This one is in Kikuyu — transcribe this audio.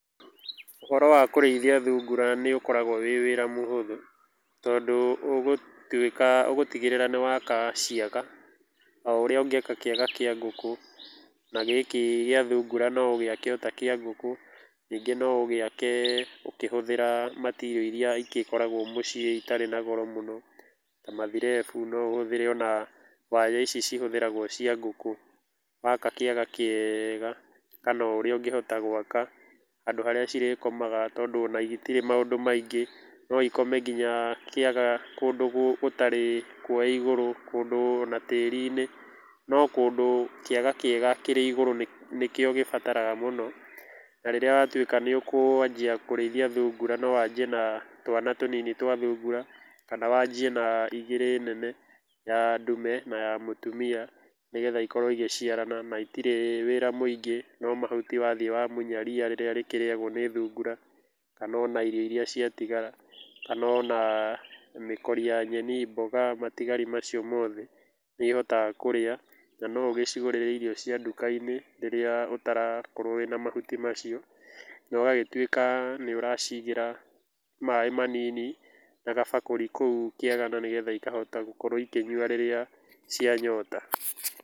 Ũhoro wa kũrĩithia thungura nĩ ũkoragwo wĩ wĩra mũhũthũ tondũ, ũgũtigĩrĩra nĩ waka ciaga ta ũrĩa ũngĩaka kĩaga kĩa ngũkũ na gĩkĩ gĩa thungura no ũgĩake ta kĩa ngũkũ, ningĩ no ũgĩake ũkĩhũthĩra material iria igĩkoragwo mũciĩ itarĩ na goro mũno, ta mathirebu no ũhũthĩra ona waya ici cihũthĩragwo cia ngũkũ, waka kĩaga kĩega kana ũrĩa ũngĩhota gwaka handũ harĩa cirĩkomaga tondũ ona itirĩ maũndũ maingĩ, no ikome nginya kĩaga kũndũ gũtarĩ kwoe igũrũ kũndũ ona tĩri-inĩ, no kũndũ kĩaga kĩega kĩrĩ igũrũ nĩ kĩo gĩbataraga mũno, na rĩrĩa watuĩka nĩũkwanjia kũrĩithia thungura no wanjie na twana tũnini twa thungura kana wanjie na igĩrĩ nene ya ndume na ya mũtumia, nĩgetha ikorwo igĩciarana na itirĩ wĩra mũingĩ, no mahuti wathiĩ wamunya ria rĩrĩa rĩkĩrĩagwo nĩ thungura, kana ona irio iria ciatigara, kana ona mĩkuri ya nyeni , mboga na matigari macio mothe nĩ ihotaga kũrĩa na no ũgĩcigũrĩre irio cia duka-inĩ rĩrĩa ũtarakorwo wĩna mahuti macio, nogagĩtuĩka nĩũracigĩra maĩ manini na gabakũri kũu kĩaga nĩgetha ikahota gũkorwo ikĩnyua rĩrĩa cia nyota.